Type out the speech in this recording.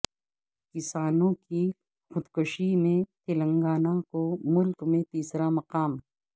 کسانوں کی خودکشی میں تلنگانہ کو ملک میں تیسرا مقام